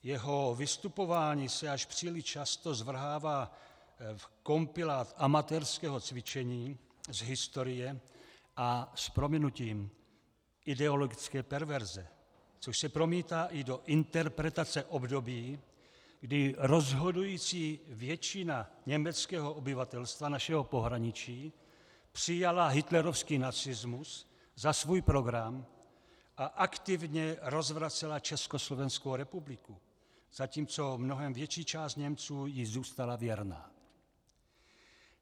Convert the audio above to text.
Jeho vystupování se až příliš často zvrhává v kompilát amatérského cvičení z historie a s prominutím ideologické perverze, což se promítá i do interpretace období, kdy rozhodující většina německého obyvatelstva našeho pohraničí přijala hitlerovský nacismus za svůj program a aktivně rozvracela Československou republiku, zatímco mnohem větší část Němců ji zůstala věrna.